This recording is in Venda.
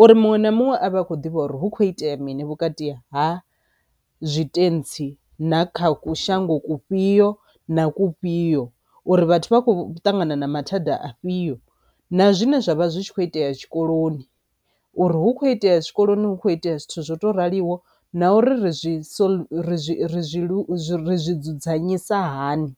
uri muṅwe na muṅwe a vha a khou ḓivha uri hu kho itea mini vhukati ha zwitentsi na kha ku shango kufhio na kufhio uri vhathu vha kho ṱangana na mathada afhio, na zwine zwavha zwi tshi kho itea tshikoloni uri hu kho itea tshikoloni hu kho itea zwithu zwo raliho na uri ri zwi solve, ri zwi ri zwi ri zwi dzudzanyisa hani.